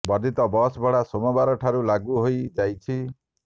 ବର୍ଦ୍ଧିତ ବସ୍ ଭଡ଼ା ସୋମବାର ଠାରୁ ଲାଗୁ ହୋଇ ଯାଇଛି